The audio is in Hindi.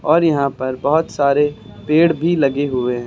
और यहां पर बहुत सारे पेड़ भी लगे हुए हैं।